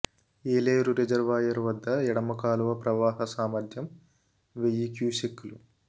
Yeleru reservoir వద్ద ఎడమ కాలువ ప్రవాహ సామర్థ్యం వెయ్యి క్యూసెక్కులు